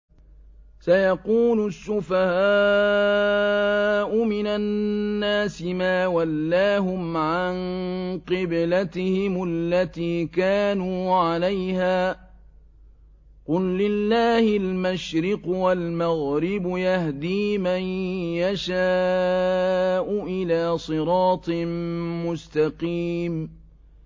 ۞ سَيَقُولُ السُّفَهَاءُ مِنَ النَّاسِ مَا وَلَّاهُمْ عَن قِبْلَتِهِمُ الَّتِي كَانُوا عَلَيْهَا ۚ قُل لِّلَّهِ الْمَشْرِقُ وَالْمَغْرِبُ ۚ يَهْدِي مَن يَشَاءُ إِلَىٰ صِرَاطٍ مُّسْتَقِيمٍ